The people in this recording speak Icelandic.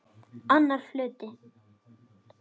Annar hluti